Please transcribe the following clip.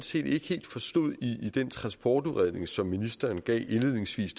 set ikke helt forstod i den transportudredning som ministeren gav indledningsvis